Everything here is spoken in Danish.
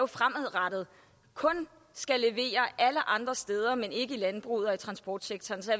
fremadrettet skal levere alle andre steder men ikke i landbruget og i transportsektoren så